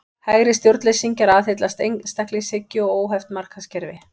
Hægri stjórnleysingjar aðhyllast einstaklingshyggju og óheft markaðskerfi.